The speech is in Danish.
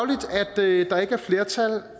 det er ikke er flertal